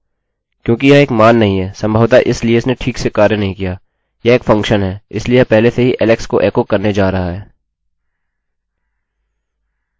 क्योंकि यह एक मान नहीं है संभवतः इसलिए इसने ठीक से कार्य नहीं किया यह एक फंक्शनfunction है इसलिए यह पहले से ही alex को एकोecho करने जा रहा है